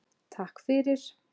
Takk fyrir.